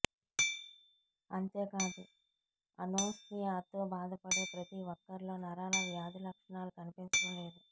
అంతేకాదు అనోస్మియాతో బాధపడే ప్రతి ఒక్కరిలో నరాల వ్యాధి లక్షణాలు కనిపించడం లేదు